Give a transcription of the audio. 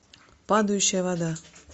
падающая вода